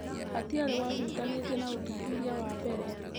Hatiarĩ wahutanĩtie na ũthuthuria wambere.